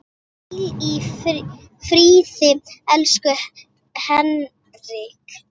Hvíl í friði, elsku Henrik.